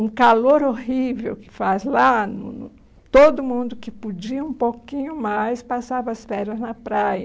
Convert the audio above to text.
Um calor horrível que faz lá, no todo mundo que podia um pouquinho mais passava as férias na praia.